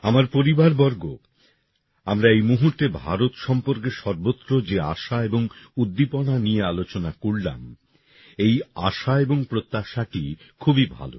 আমার পরিবারবর্গ আমরা এই মুহূর্তে ভারত সম্পর্কে সর্বত্র যে আশা এবং উদ্দীপনা নিয়ে আলোচনা করলাম এই আশা এবং প্রত্যাশাটি খুবই ভাল